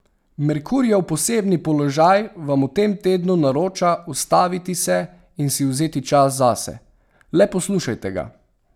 Merkurjev posebni položaj vam v tem tednu naroča ustaviti se in si vzeti čas zase, le poslušajte ga.